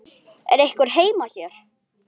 Er einhver heima hér?